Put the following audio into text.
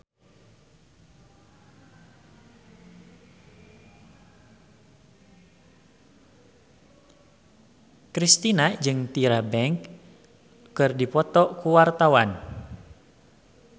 Kristina jeung Tyra Banks keur dipoto ku wartawan